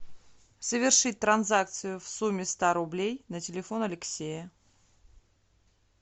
совершить транзакцию в сумме ста рублей на телефон алексея